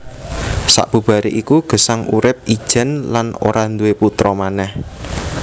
Sabubaré iku Gesang urip ijèn lan ora duwé putra manèh